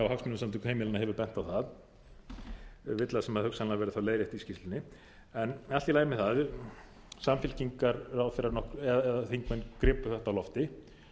á það villa sem hugsanlega verður þá leiðrétt í skýrslunni en allt í lagi með það samfylkingarþingmenn gripu þetta á lofti